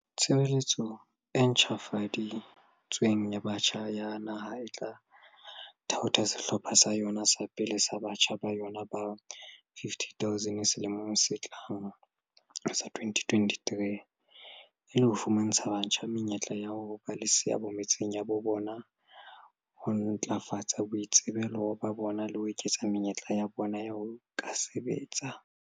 "Tshebeletso e ntjhafadi tsweng ya Batjha ya Naha e tla thaotha sehlopha sa yona sa pele sa batjha ba yona ba 50 000 selemong se tlang sa 2023, e le ho fumantsha batjha menyetla ya ho ba le seabo metseng ya habo bona, ho ntlafatsa boitsebelo ba bona le ho eketsa menyetla ya bona ya ho ka sebetsa."